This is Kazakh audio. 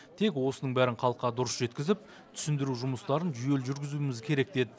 тек осының бәрін халыққа дұрыс жеткізіп түсіндіру жұмыстарын жүйелі жүргізуіміз керек деді